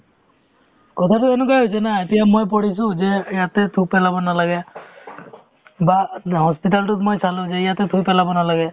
কথাতো এনেকুৱাই হৈছে না এতিয়া মই পঢ়িছো যে ইয়াতে থু পেলাব নালাগে বা hospital তোত মই চালো যে ইয়াতে থুই পেলাব নালাগে